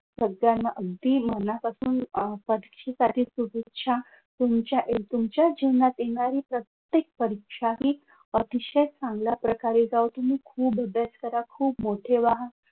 सगळ्यांना अगदी मनापासून अह परीक्षेसाठी शुभेच्छा. तुमच्या तुमच्या जीवनात येणारी प्रत्येक परीक्षा ही अतिशय चांगल्या प्रकारे जावो. तुम्ही खूप अभ्यास करा. तुम्ही खूप मोठे व्हा.